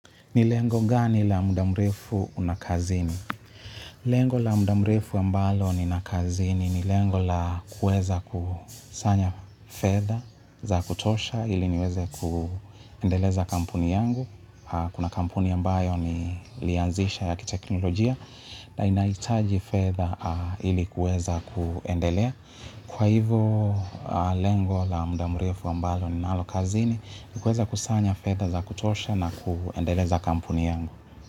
Ni lengo gani la muda mrefu una kazini? Lengo la muda mrefu ambalo nina kazini ni lengo la kuweza kusanya fedha za kutosha ili niweze kuendeleza kampuni yangu. Kuna kampuni ambayo nilianzisha ya kiteknolojia na inaitaji fedha ili kuweza kuendelea. Kwa hivo lengo la muda mrefu ambalo ninalo kazini, ni kuweza kusanya fedha za kutosha na kuendeleza kampuni yangu.